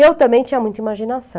Eu também tinha muita imaginação.